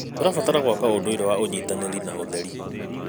Tũrabatara gwaka ũndũire wa ũnyitanĩri na ũtheri.